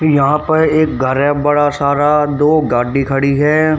यहां पर एक घर है बड़ा सारा दो गाडी खड़ी है।